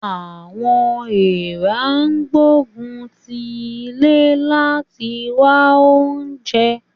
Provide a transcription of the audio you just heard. Àwọn èèrà ń gbógun ti ilé láti wá oúnjẹ